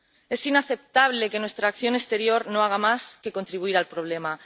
Es inaceptable que nuestra acción exterior no haga más que contribuir al problema.